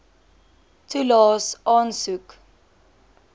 toelaes aansoek